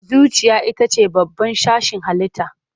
Zuciya ita ce babban sashin halitta.